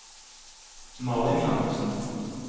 Malin Jakobsen